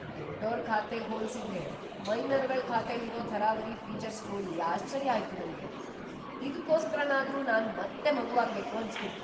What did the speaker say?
ದೊಡ್ಡೋರ್ ಖಾತೆಗ್ ಹೋಲ್ಸಿದ್ರೆ ಮೈನರ್‌ಗಳ್ ಖಾತೆಲಿರೋ ಥರಾವರಿ ಫೀಚರ್ಸ್ ನೋಡಿ ಆಶ್ಚರ್ಯ ಆಯ್ತು ನಂಗೆ, ಇದ್ಕೋಸ್ಕರನಾದ್ರೂ ನಾನ್‌ ಮತ್ತೆ ಮಗುವಾಗ್ಬೇಕು ಅನ್ಸ್ಬಿಡ್ತು.